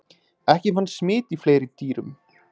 ekki fannst smit í fleiri dýrum